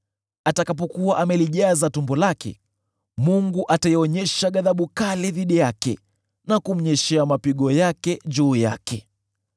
Atakapokuwa amelijaza tumbo lake, Mungu ataionyesha ghadhabu kali dhidi yake, na kumnyeshea mapigo juu yake.